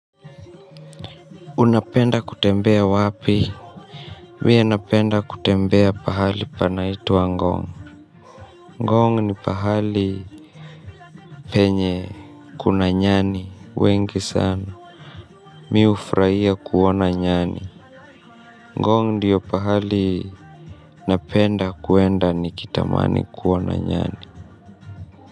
Unapenda kutembea wapi. Mie napenda kutembea pahali panaitwa Ngong. Ngong ni pahali penye kuna nyani. Wengi sana. Mi ufraia kuona nyani. Ngon diyo pahali napenda kuenda nikitamani kuona nyani.